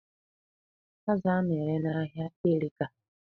Azụ a na-ere n'ahia erika.